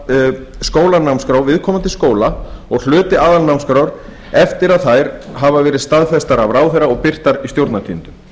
af skólanámskrá viðkomandi skóla og hluti aðalnámskrár eftir að þær hafa verið staðfestar af ráðherra og verið birtar í stjórnartíðindum